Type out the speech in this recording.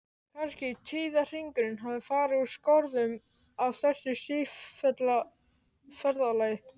Kannski tíðahringurinn hafi farið úr skorðum af þessu sífellda ferðalagi?